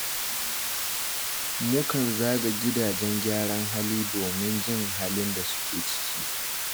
Mukan zaga gidajen gyaran hali domin jin halin da suke ciki